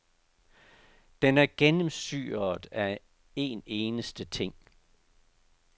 Den er gennemsyret af en eneste ting.